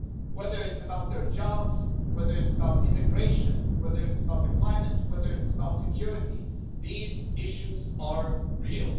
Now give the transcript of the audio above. Whether it's about their jobs, whether it's about immigration, whether it's about the climate, whether it's about security, these issues are real.